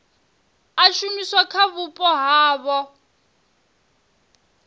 a shumiswa kha vhupo havho